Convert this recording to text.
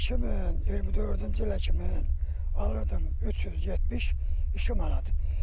2024-cü ilə kimi alırdım 372 manat.